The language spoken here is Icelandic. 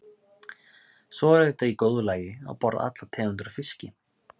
Svo er auðvitað í góðu lagi að borða allar tegundir af fiski.